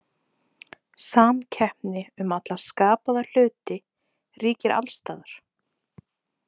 Samkeppni um alla skapaða hluti ríkir alls staðar.